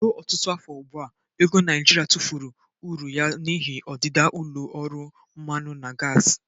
Ruo ọtụtụ afọ ugbu a, ego Naijiria tụfuru uru ya n'ihi ọdịda ụlọ ọrụ mmanụ na gasi.